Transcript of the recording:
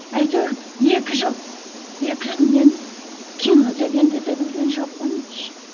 әйтеуір екі жыл екі жыл мен кино дегенді де білген жоқпын